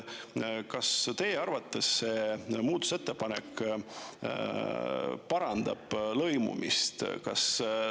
Kas teie arvates see muutmise ettepanek parandab lõimumist?